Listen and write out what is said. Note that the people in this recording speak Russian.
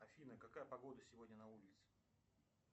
афина какая погода сегодня на улице